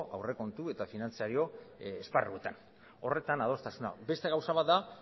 aurrekontu eta finantziario esparruetan horretan adostasuna beste gauza bat da